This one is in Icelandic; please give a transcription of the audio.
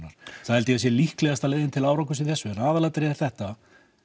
held ég líklegasta leiðin til árangurs í þessu en aðalatriðið er þetta